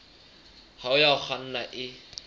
hao ya ho kganna e